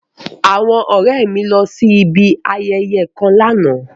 Awọn ọrẹ mi lọ si ibi ayẹyẹ kan làná